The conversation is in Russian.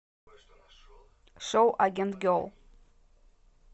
шоу агент герл